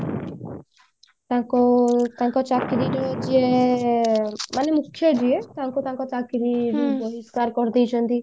ତାଙ୍କ ତାଙ୍କ ଚାକିରି ରେ ଯିଏ ଏ ମାନେ ମୁଖ୍ୟ ଯିଏ ତାଙ୍କୁ ତାଙ୍କ ଚାକିରି ବହିଷ୍କାର କରିଦେଇ ଛନ୍ତି